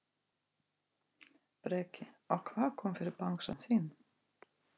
Breki: Og hvað kom fyrir bangsann þinn?